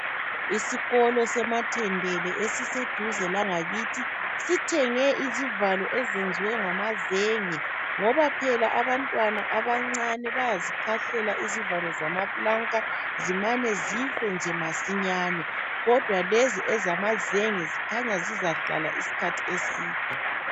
Isikolo seMathendele esiseduze langakithi sithenge izivalo ezenzwe ngamazenge ngoba phela abantwana abancane bayazikhahlela izivalo zamaplanka zimane zife nje masinyane kodwa lezi ezamazenge kukhanya zizahlahla isikhathi eside